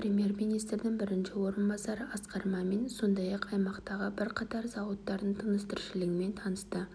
премьер-министрдің бірінші орынбасары асқар мәмин сондай-ақ аймақтағы бірқатар зауыттардың тыныс-тіршілігімен танысты